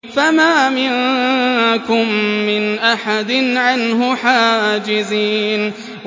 فَمَا مِنكُم مِّنْ أَحَدٍ عَنْهُ حَاجِزِينَ